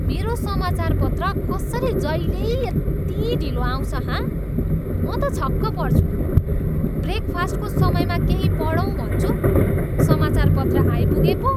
मेरो समाचारपत्र कसरी जहिल्यै यति ढिलो आउँछ, हँ? म त छक्क पर्छु। ब्रेकफास्टको समयमा केही पढौँ भन्छु, समाचारपत्र आइपुगे पो!